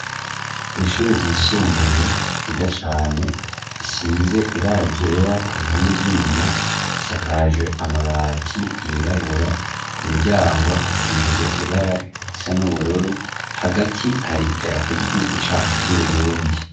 Kw'ishure ryisumbuye ryiza cane isize ibara ryera ku bihome vy'inyuma isakajwe amabati yirabura ku miryango hasize ibara risa n'ubururu hagati hari idarapo ry'igihugu cacu ry'uburundi.